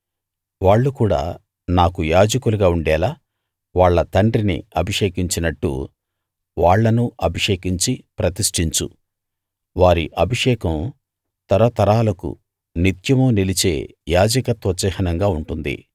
వాళ్ళు కూడా నాకు యాజకులుగా ఉండేలా వాళ్ళ తండ్రిని అభిషేకించినట్టు వాళ్ళను అభిషేకించి ప్రతిష్టించు వారి అభిషేకం తరతరాలకు నిత్యమూ నిలిచే యాజకత్వ చిహ్నంగా ఉంటుంది